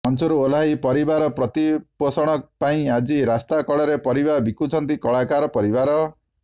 ମଞ୍ଚରୁ ଓହ୍ଲାଇ ପରିବାର ପ୍ରତିପୋଷଣ ପାଇଁ ଆଜି ରାସ୍ତା କଡ଼ରେ ପରିବା ବିକୁଛନ୍ତି କଳାକାର ପରିବାର